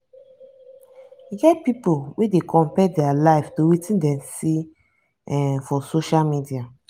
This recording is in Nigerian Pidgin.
e get pipo wey dey compare dia life to wetin dem see um for social media.